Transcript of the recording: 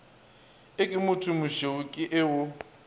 e ke mothomošweu ke o